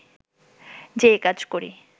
যেই কাজ করি